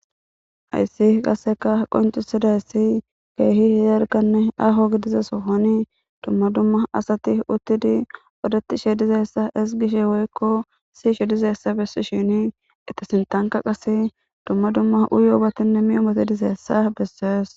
Hayssi qasika qonccetidayssi dalgganne aaho gidida sohon dumma dumma asati utidi woykko siyishshe dizayssa haykka qasse dumma dumma uyiyobatinne miyobati